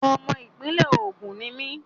Ọmọ ìpínlẹ̀ Ògùn ni mí.